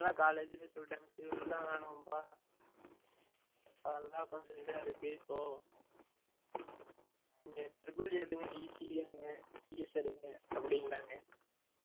college லயே சொல்லிடாங்க civil லாம் வேண்டாம் பா அதெல்லம் கொஞ்சம் இதா இருக்கு இப்போ னீங்க EEE எடுங்க ECE எடுங்க CS எடுங்க அப்டிங்க்ராங்க